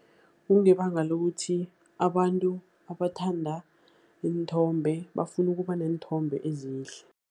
Kungebanga lokuthi abantu abathanda iinthombe bafuna ukuba neenthombe ezihle.